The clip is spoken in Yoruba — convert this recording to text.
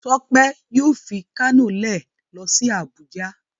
Tope yóò fí Kano lẹ ló sí Abuja.